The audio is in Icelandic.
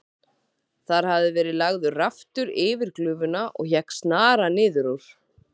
Þar hafði verið lagður raftur yfir glufuna og hékk snara niður úr.